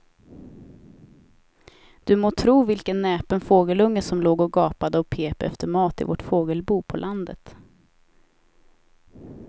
Du må tro vilken näpen fågelunge som låg och gapade och pep efter mat i vårt fågelbo på landet.